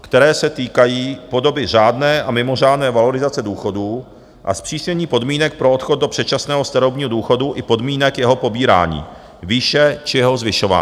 které se týkají podoby řádné a mimořádné valorizace důchodů a zpřísnění podmínek pro odchod do předčasného starobního důchodu i podmínek jeho pobírání, výše či jeho zvyšování.